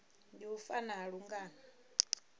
ndi u fa ha lungano